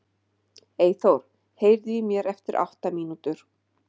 Eyþór, heyrðu í mér eftir átta mínútur.